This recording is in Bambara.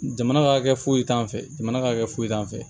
Jamana ka kɛ foyi t'an fɛ jamana ka kɛ foyi t'an fɛ